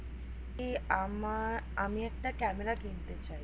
কি আমার আমি একটা ক্যামেরা কিনতে চাই